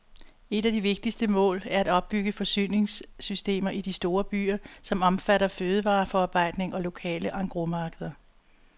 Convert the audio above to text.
Et af de vigtigste mål er at opbygge forsyningssystemer i de store byer, som omfatter fødevareforarbejdning og lokale engrosmarkeder.